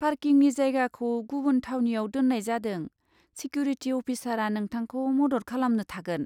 पार्किंनि जायगाखौ गुबुन थावनियाव दोन्नाय जादों, सेक्युरिटि अफिसारा नोंथांखौ मदद खालामनो थागोन।